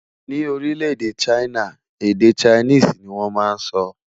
Ní orile-ede china, èdè Chinese ní wón má sọ